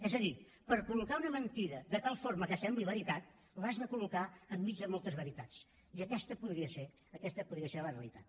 és a dir per col·locar una mentida de tal forma que sembli veritat l’has de col·locar enmig de moltes veritats i aquesta podria ser aquesta podria ser la realitat